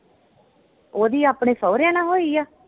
ਉਹਦੀ ਆਪਣੇ ਸਹੁਰਿਆਂ ਨਾਲ ਹੋਈ ਆ?